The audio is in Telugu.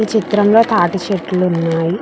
ఈ చిత్రం లో తాటి చెట్లు ఉన్నాయ్.